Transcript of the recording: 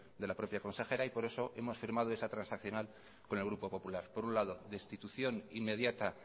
de la propia consejera por eso hemos firmado esa transaccional con el grupo popular por un lado destitución inmediata